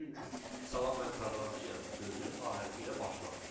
Çünki salam mən proqramçıyam sözü A hərfi ilə başlamır.